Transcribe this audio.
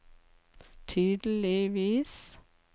tydeligvis